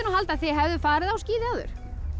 halda að þið hefðuð farið á skíði áður